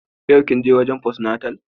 Yau kin je gurin fost- natal?